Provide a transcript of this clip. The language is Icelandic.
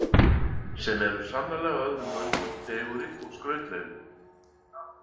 Sem eru sannarlega öðrum mönnum fegurri og skrautlegri.